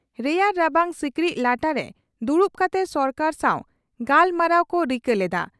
ᱨᱮᱭᱟᱲ ᱨᱟᱵᱟᱝ ᱥᱤᱠᱲᱤᱡ ᱞᱟᱴᱟᱨᱮ ᱫᱩᱲᱩᱵ ᱠᱟᱛᱮ ᱥᱚᱨᱠᱟᱨ ᱥᱟᱣ ᱜᱟᱞᱢᱟᱨᱟᱣ ᱠᱚ ᱨᱤᱠᱟᱹ ᱞᱮᱫᱼᱟ ᱾